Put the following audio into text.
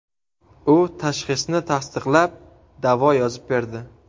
U tashxisni tasdiqlab, davo yozib berdi.